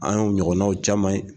An ye o ɲɔgɔnnanw caman ye